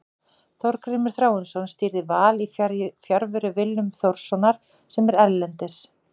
Þorgrímur Þráinsson stýrði Val í fjarveru Willums Þórssonar sem er erlendis.